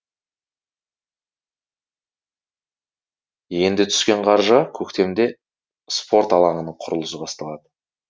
енді түскен қаржыға көктемде спорт алаңының құрылысы басталады